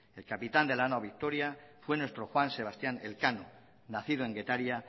el capitán de la nao victoria fue nuestro juan sebastián elcano nacido en getaria